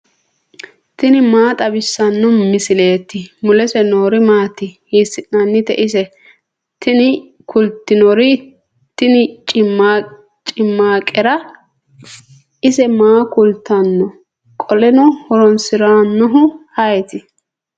tini maa xawissanno misileeti ? mulese noori maati ? hiissinannite ise ? tini kultannori tini cimmaaqere. ise maaho kaa'litanno? qoleno horoonsirannohu ayeeti.